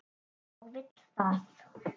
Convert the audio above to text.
Og vill það.